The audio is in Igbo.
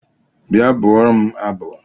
Bịa bụụrụ m abụ!